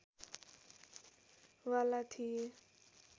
वाला थिए